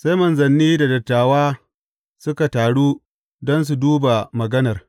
Sai manzanni da dattawa suka taru don su duba maganar.